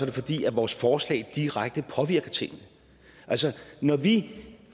det fordi vores forslag direkte påvirker tingene altså når vi